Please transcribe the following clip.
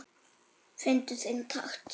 Fyndu þinn takt